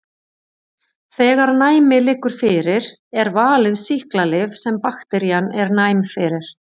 Þegar næmi liggur fyrir er valið sýklalyf sem bakterían er næm fyrir.